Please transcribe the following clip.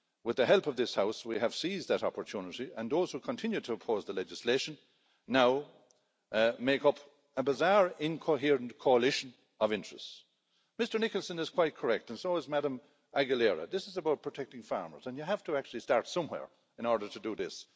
With the help of this House, we have seized that opportunity and those who continue to oppose the legislation now make up a bizarre incoherent coalition of interests. Mr Nicholson is quite correct and so is Ms Aguilera. This is about protecting farmers and you have to actually start somewhere in order to do this.